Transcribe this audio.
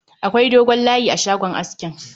Akwai dogon layi a shagon askin